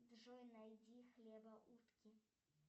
джой найди хлебоутки